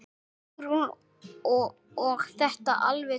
Hugrún: Og þetta alveg traust?